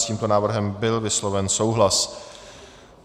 S tímto návrhem byl vysloven souhlas.